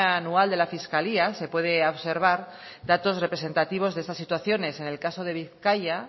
anual de la fiscalía se puede observar datos representativos de estas situaciones en el caso de bizkaia